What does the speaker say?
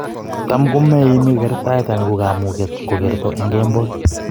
Tam komaime kertaet anan ko kamuket ko kerto en kemboi